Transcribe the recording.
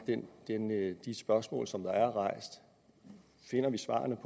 de spørgsmål som er rejst finder vi svarene